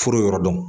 Foro yɔrɔ dɔn